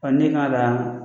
ne kan kaa